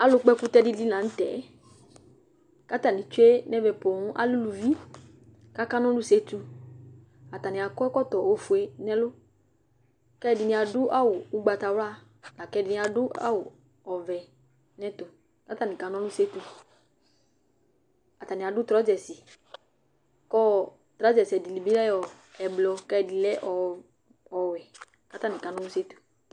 alʊ kpɔ ɛkʊtɛ dɩnɩ lanutɛ, atanɩ tsue nʊ ɛmɛ poo, atanɩ lɛ eluvinɩ kʊ akanɔlʊ setu, atanɩ akɔ ɛkɔtɔ ofue, kʊ ɛdɩnɩ adʊ awu ugvatawla, lakʊ ɛdɩnɩ adʊ awu ɔvɛ, kʊ atanɩ kana ɔlʊ setu, atanɩ adʊ drɔdɛsi kʊ drɔdɛsi ɛdɩnɩ lɛ blu kʊ ɛdɩnɩ lɛ ɔwɛ